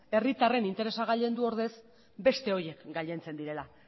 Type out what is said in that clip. herritarren interesa gailendu ordez beste horiek gailentzen direla